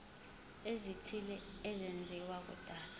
ezithile ezenziwa kudala